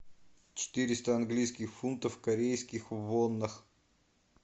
четыреста английских фунтов в корейских вонах